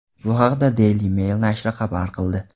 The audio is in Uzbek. Bu haqda Daily Mail nashri xabar qildi .